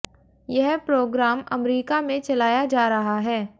यह programme America में चलाया जा रहा है